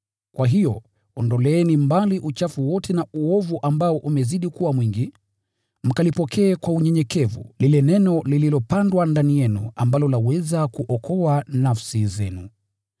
Kwa hiyo, ondoleeni mbali uchafu wote na uovu ambao umezidi kuwa mwingi, mkalipokee kwa unyenyekevu lile Neno lililopandwa ndani yenu ambalo laweza kuokoa nafsi zenu.